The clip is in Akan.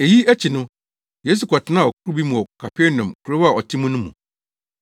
Eyi akyi no, Yesu kɔtenaa ɔkorow bi mu kɔɔ Kapernaum, kurow a ɔte mu no mu.